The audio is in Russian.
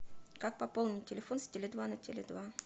как пополнить телефон с теле два на теле два